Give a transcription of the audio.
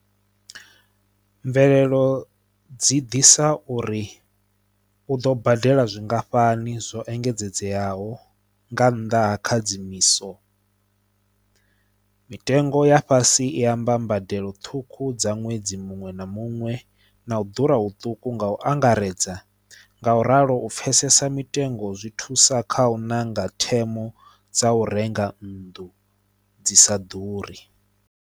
Mvelelo dzi ḓisa uri u ḓo badela zwingafhani zwo engedzedzeaho nga nnḓa ha khadzimiso mitengo ya fhasi i amba mbadelo ṱhukhu dza ṅwedzi muṅwe na muṅwe na u ḓura huṱuku nga u angaredza nga u ralo u pfesesa mitengo zwi thusa kha u ṋanga themo dza u renga nnḓu dzi sa ḓuri.